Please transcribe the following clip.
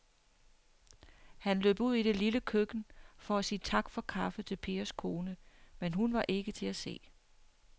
Han løb ud i det lille køkken for at sige tak for kaffe til Pers kone, men hun var ikke til at se.